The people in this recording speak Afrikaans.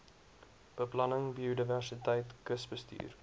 beplanning biodiversiteit kusbestuur